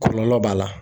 Kɔlɔlɔ b'a la